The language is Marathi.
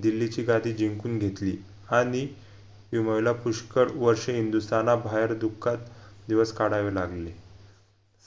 दिल्लीची गादी जिंकून घेतली हानी हिमायुला पुष्कर वर्षे हिंदुस्ताना बाहेर दुःखात दिवस काढावे लागले